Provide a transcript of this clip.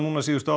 síðustu